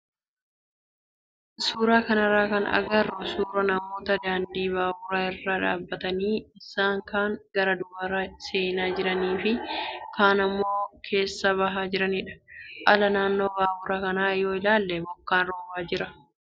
Suuraa kanarraa kan agarru suuraa namoota daandii baaburaa irra dhaabbatanii isaan kaan gara baaburaa seenaa jiranii fi kaan immoo keessaa bahaa jiranidha. Ala naannoo baabura kanaa yoo ilaalle bokkaan roobaa jira.